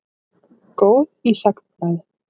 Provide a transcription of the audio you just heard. Góð í sagnfræði.